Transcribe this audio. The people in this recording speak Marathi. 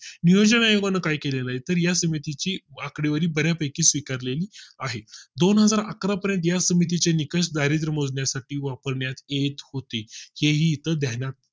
नियोजन आयोगाने काही केले तर या समितीची आकडेवारी बर्यापैकी स्वीकारली आहे दोनहजार अकरा पर्यंत या समितीचे निकष दारिद्रय़ मोजण्या साठी वापरण्यात येत होती हे ही इथं ध्यानात घ्या